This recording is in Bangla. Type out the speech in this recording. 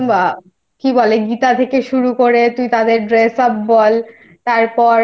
প্রত্যেকটা মানে একদম কি বলে গীতা থেকে শুরু